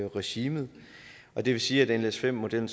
regimet og det vil sige at nles5 modellen